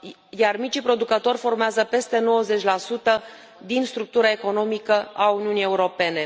Iar micii producători formează peste 90 din structura economică a Uniunii Europene.